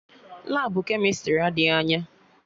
Labụ kemịstrị adịghị anya